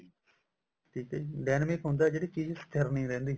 ਠੀਕ ਹੈ ਜੀ dynamic ਹੁੰਦਾ ਜਿਹੜੀ ਚੀਜ਼ ਸਥਿਰ ਨੀ ਹੁੰਦੀ